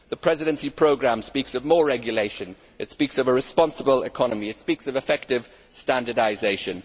The Presidency programme speaks of more regulation, it speaks of a responsible economy, and it speaks of effective standardisation.